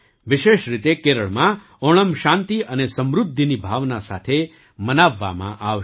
વિશેષ રીતે કેરળમાં ઓણમ શાંતિ અને સમૃદ્ધિની ભાવના સાથે મનાવવામાં આવશે